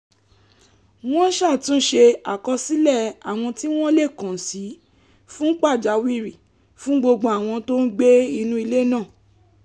wọ́n ṣàtúnṣe àkọsílẹ̀ àwọn tí wọ́n lè kàn sí fún pàjáwìrì fún gbogbo àwọn tó ń gbé nínú ilé náà